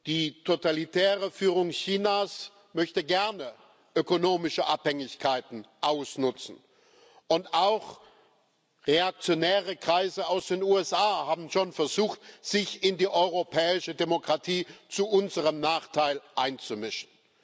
Die totalitäre Führung Chinas möchte gerne ökonomische Abhängigkeiten ausnutzen, und auch reaktionäre Kreise aus den USA haben schon versucht, sich in die europäische Demokratie zu unserem Nachteil einzumischen.